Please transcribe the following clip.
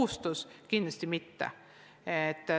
Seda kindlasti mitte.